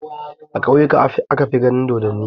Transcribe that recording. A ƙauyuka aka fi ganin dodonni.